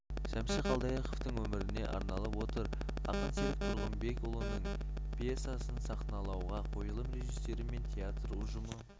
шәмші қалдаяқовтың өміріне арналып отыр ақын серік тұрғынбекұлының пьесасын сахналауға қойылым режиссері мен театр ұжымы